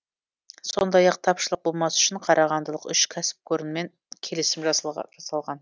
сондай ақ тапшылық болмас үшін қарағандылық үш кәсіпорынмен келісім жасалған